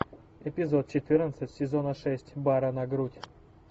эпизод четырнадцать сезона шесть бара на грудь